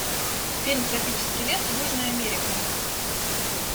фильм тропический лес южная америка